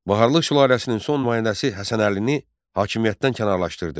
Baharlı sülaləsinin son nümayəndəsi Həsən Əlini hakimiyyətdən kənarlaşdırdı.